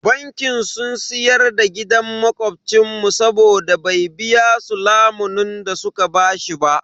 Banki sun siyar da gidan makobcin mu saboda bai biya su lamunin da su ka bashi ba.